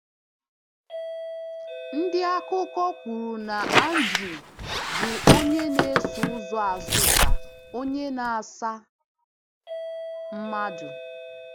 Ndị akụkọ kwuru na Áńdrú bụ onye nēsò ụzọ Azụ́ká onye na-asa mmadụ.